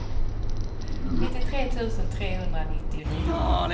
nittiotre tusen trehundranittionio